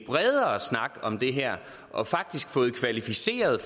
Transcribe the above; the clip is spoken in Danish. bredere snak om det her og faktisk havde fået kvalificeret